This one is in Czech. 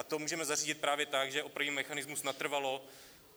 A to můžeme zařídit právě tak, že opravíme mechanismus natrvalo.